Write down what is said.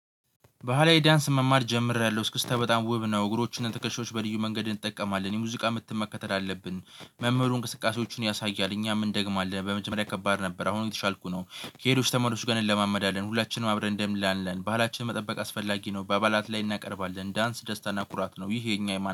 ባህላዊ ዳንስ መማር ጀምሬያለሁ። እስክትተህ በጣም ውብ ነው እግሮቹን ትከሻዎች በልዩ መንገድ እንጠቀማለን። የሙዚቃ ምት መከተል አለብን። መምህሩ እንቅስቃሴዎችን ያሳያል። እኛ ምን ደንደግማለን በመጀመሪያ ከባድ ነበር አሁን የተሻልኩት ነው ከሄዶች ተመልሼ ጋር እንለማመዳለን። ሁላችንም አብረን እንደምል አለን ባላችን መጠበቅ አስፈላጊ ነ። በአባላት ላይ እናቀርባለን። ዳንስ ደስታና ኩራት ነው ይሄ የኛ የማን